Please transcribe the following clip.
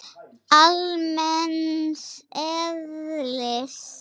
almenns eðlis.